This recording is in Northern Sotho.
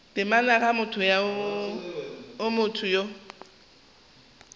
temana ga go motho yo